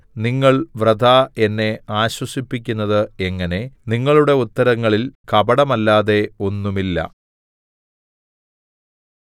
നിങ്ങൾ വൃഥാ എന്നെ ആശ്വസിപ്പിക്കുന്നത് എങ്ങനെ നിങ്ങളുടെ ഉത്തരങ്ങളിൽ കപടമല്ലാതെ ഒന്നുമില്ല